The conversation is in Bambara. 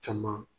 Caman